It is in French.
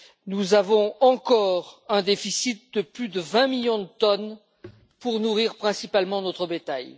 Nous avons encore un déficit de plus de 20 millions de tonnes pour nourrir principalement notre bétail.